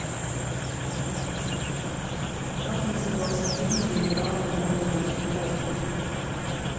как назывался фильм где играла нонна мордюкова